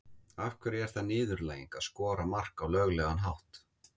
Af hverju er það niðurlæging að skora mark á löglegan hátt?